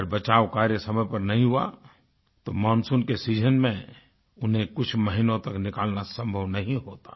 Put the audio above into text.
अगर बचाव कार्य समय पर नहीं हुआ तो मानसून के सीजन में उन्हें कुछ महीनों तक निकालना संभव नहीं होता